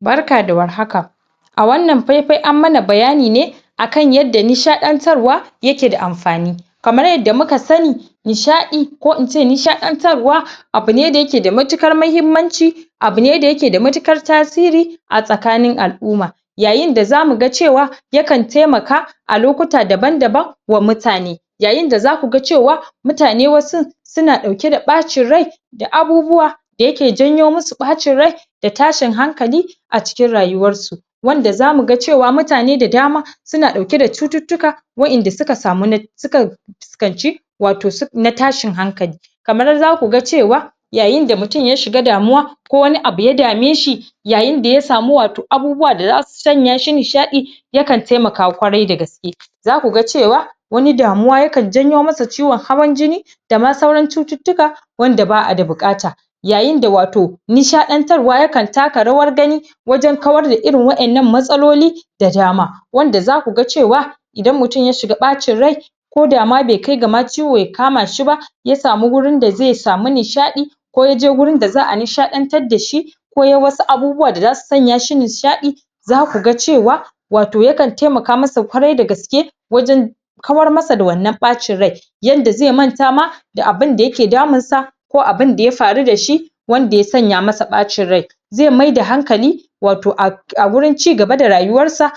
Barka da war haka a wannan fai-fai an mana bayani ne akan yadda nishaɗantar wa yake da amfani, kamar yadda muka sani nishaɗi ko ince nishaɗantar wa abune da yake da matukar mahimmanci abune da yake da matukar tasiri a tsakanin al'uma. Yayinda za muga cewa yakan taimaka a lokuta daban-daban wa mutane, yayinda za kuga cewa mutane wasun suna ɗauke da ɓacin rai da abubuwa da yake janyo musu ɓacin rai da tashin hankali a cikin rayuwar su. Wanda za muga cewa mutane da dama suna ɗauke da cututtuka wa'inda suka samu na suka um fuskanci wato su na tashin hankali kamar za kuga cewa yayinda mutum ya shiga damuwa ko wani abu ya dameshi yayinda ya samu wato abubuwa da za sanya shi nishaɗi yakan taimaka kwarai da gaske za kuga cewa wani damuwa yakan janyo masa ciwon hawan jini dama sauran cututtuka wanda ba'a da buƙata yayinda wato nishaɗantar wa yakan taka rawar gani wajan kawar da irin waƴannan matsaloli da dama. Wanda za kuga cewa idan mutum ya shiga ɓacin rai koda ma be kai gama ciwo ya kama shi ba ya samu gurin da ze samu nishaɗi ko yaje gurin da za'a nishaɗantar da shi ko yayi wasu abubuwa da zasu sanya shi nishaɗi za kuga cewa wato yakan taimaka masa kwarai da gaske wajan kawar masa da wannan ɓacin rai yanda ze manta da abinda yake daminsa ko abinda ya faru da shi wanda ya sanya masa ɓacin rai ze maida hankali wato um a wurin ci gaba da rayuwar sa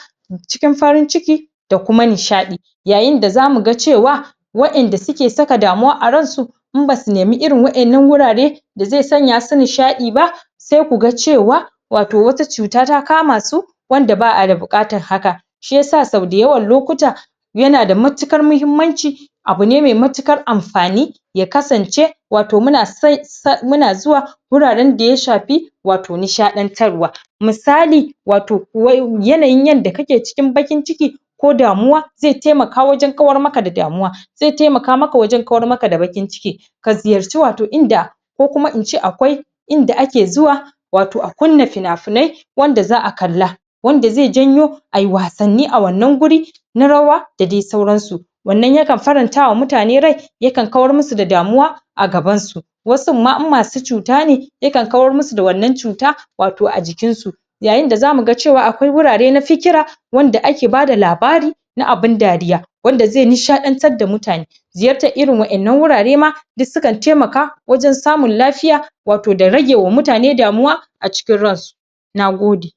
cikin farin ciki da kuma nishaɗi. Yayinda za muga cewa wa'inda suke saka damuwa a ransu in basu nemi irin wa'innan wurare da ze sanya su nishaɗi ba se kuga cewa wato wata cuta ta kama su wanda ba'a da buƙatan haka shi yasa sau da yawan lpkuta yana da matuƙar muhimmanci abune me matuƙar amfani ya kasance wato muna um muna zuwa wuraran daya shapi wato nishaɗantarwa misali wato um yanayin yanda kake cikin ɓakin ciki ko damuwa ze taimaka wajan kawar maka da damuwa ze taimaka maka wajan kawar maka da baƙin ciki ka ziyarci wato inda ko kuma ince akwai inda ake zuwa wato a kunna pina-pinai wanda za'a kalla wanda ze janyo ayi wasnni a wannan guri na rawa da dai sauran su. Wannan yakan farantawa mutane rai yakan kawar musu da damuwa a gaban su wasun ma in masu cuta ne yakan kawar musu da wannan cuta wato a jikin su. Yayinda za muga cewa akwai wurare na fikira wanda ake bada labari na abin dariya wanda ze nishaantar da mutane ziyartar irin wa'innan wurare ma duk sukan taimaka wajan samun lafiya wato da rage wa mutane damuwa a cikin ransu, a cikin ransu, nagod nagode.